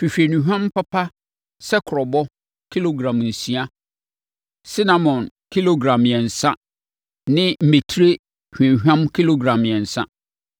“Hwehwɛ nnuhwam papa sɛ kurobo, kilogram nsia, sinamon kilogram mmiɛnsa ne mmɛtire hwamhwam kilogram mmiɛnsa.